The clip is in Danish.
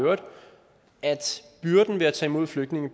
at